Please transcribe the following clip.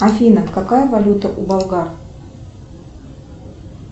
афина какая валюта у болгар